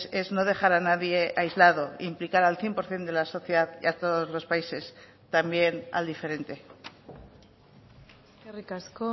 es no dejar a nadie aislado implicar al cien por ciento de la sociedad y a todos los países también al diferente eskerrik asko